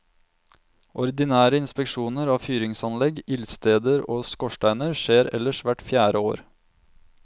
Ordinære inspeksjoner av fyringsanlegg, ildsteder og skorsteiner skjer ellers hvert fjerde år.